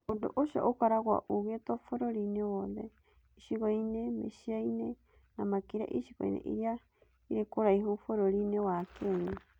Ũndũ ũcio ũkoragwo ũgekwo bũrũri-inĩ wothe, icigo-inĩ, mĩciĩ-inĩ, na makĩria icigo-inĩ iria irĩ kũraihu bũrũri-inĩ wa Kenya.